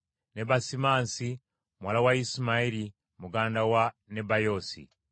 ne Basimansi muwala wa Isimayiri muganda wa Nebayoosi.